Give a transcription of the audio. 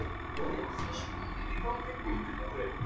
Vissulega eru þetta mikil vonbrigði